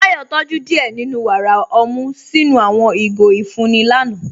Táyọ̀ tójú díẹ́ nínú wára ọmú sinu àwọn igó ifunni lànà.